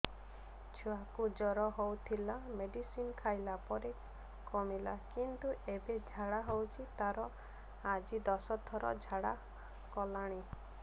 ଛୁଆ କୁ ଜର ହଉଥିଲା ମେଡିସିନ ଖାଇଲା ପରେ କମିଲା କିନ୍ତୁ ଏବେ ଝାଡା ହଉଚି ତାର ଆଜି ଦଶ ଥର ଝାଡା କଲାଣି